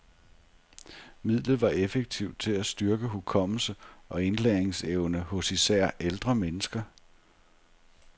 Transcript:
Midlet var effektivt til at styrke hukommelse og indlæringsevne hos især ældre mennesker.